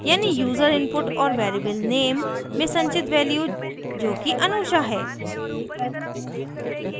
यानी user input और variable name में संचित value जोकि anusha है